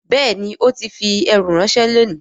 Bẹ́ẹ̀ni ó ti fi ẹrù ránṣẹ́ lónìí